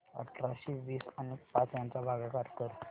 अठराशे वीस आणि पाच यांचा भागाकार कर